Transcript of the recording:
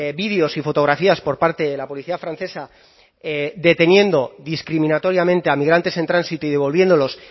vídeos y fotografías por parte de la policía francesa deteniendo discriminatoriamente a migrantes en tránsito y devolviéndolos